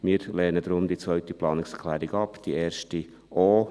Wir lehnen deshalb die zweite Planungserklärung ab, die erste ebenfalls.